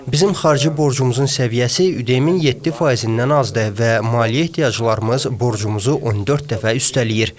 Bizim xarici borcumuzun səviyyəsi ÜDM-in 7%-dən azdır və maliyyə ehtiyaclarımız borcumuzu 14 dəfə üstələyir.